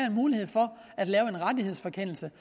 en mulighed for at lave en rettighedsfrakendelse